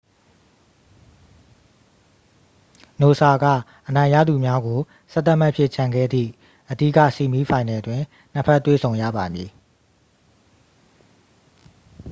နိုဆာက အနိုင်ရသူများကို 11 မှတ်ဖြင့် ချန်ခဲ့သည့် အဓိက ဆီးမီးဖိုင်နယ်တွင် နှစ် ဖက် တွေ့ဆုံရပါမည်